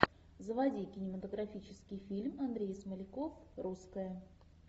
заводи кинематографический фильм андрей смоляков русская